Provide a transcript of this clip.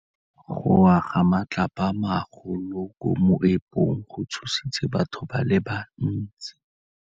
Go wa ga matlapa a magolo ko moepong go tshositse batho ba le bantsi.